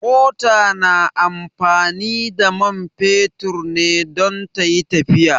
Mota na amfani da man fetur ne don tayi tafiya